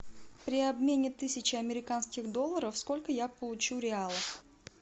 при обмене тысячи американских долларов сколько я получу реалов